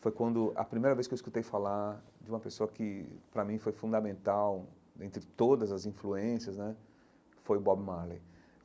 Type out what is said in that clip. foi quando a primeira vez que eu escutei falar de uma pessoa que, para mim, foi fundamental, dentre todas as influências né, foi o Bob Marley.